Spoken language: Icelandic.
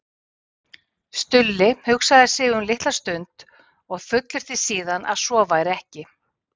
Stulli hugsaði sig um litla stund og fullyrti síðan að svo væri ekki.